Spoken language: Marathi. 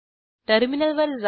टर्मिनलवर जा